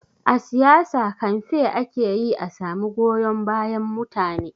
A siyasa, kamfe ake yi a samu goyon bayan mutane.